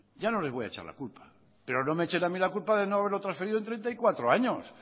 ya no les voy a echar la culpa pero no me echen a mí la culpa de no haberlo transferido en treinta y cuatro años